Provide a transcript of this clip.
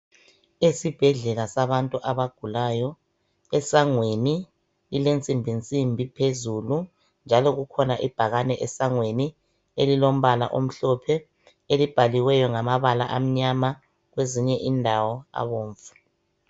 Esibhedlela sabantu abagulayo esangweni ilensimbinsimbi phezulu njalo kukhona ibhakane esangweni elilombala omhlophe elibhaliweyo ngamabala amnyama kwezinye indawo abomvu.